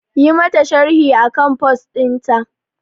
Yi mata sharhi akan post ɗinta